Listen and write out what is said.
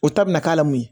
O ta bina k'a la mun ye